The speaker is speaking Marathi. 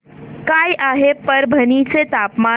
काय आहे परभणी चे तापमान